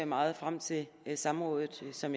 meget frem til samrådet som